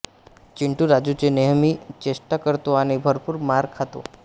चिंटू राजूची नेहमी चेष्टा करतो आणि भरपूर मार खातो